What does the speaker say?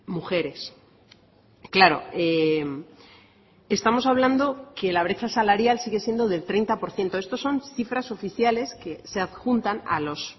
mujeres claro estamos hablando que la brecha salarial sigue siendo del treinta por ciento estos son cifras oficiales que se adjuntan a los